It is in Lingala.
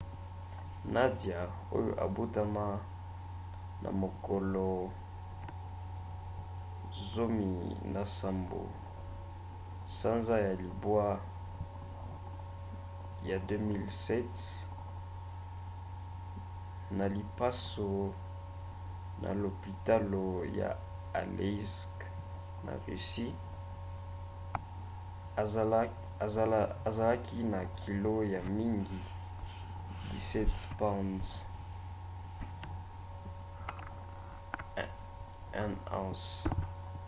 nadia oyo abotama na mokolo 17 sanza ya libwa 2007 na lipaso na lopitalo ya aleisk na russie azala na kilo ya mingi 17 pounds 1 ounce